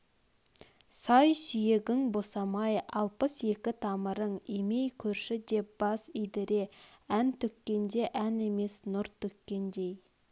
сай-сүйегің босамай алпыс екі тамырың имей көрші деп бас идіре ән төккенде ән емес нұр төккендей